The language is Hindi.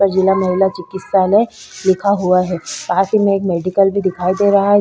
बर्ज़िला महिला चिकित्सालय लिखा हुआ है। पास ही मे एक मेडिकल भी दिखाई दे रहा है।